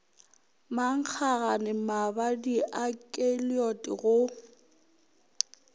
mankgagane mabadi a keliod go